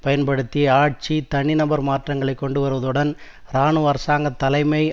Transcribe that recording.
பயன்படுத்தி ஆட்சி தனிநபர் மாற்றங்களை கொண்டு வருவதுடன் இராணுவ அரசாங்க தலைமையை